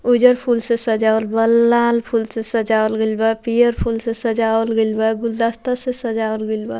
उजर फूल से सजाबल बा लाल फूल से सजबल गइल बा पियर फूल से सजाबल गइल बा गुलदस्ता से सजावल गइल बा।